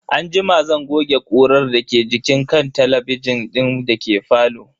Anjima zan goge ƙurar da ke jikin kan talabijin din dake falo.